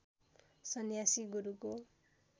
सन्यासी गुरुको